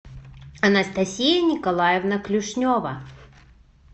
анастасия николаевна клюшнева